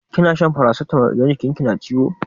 Kina shan farasitamol idan jikin ki na ciwo?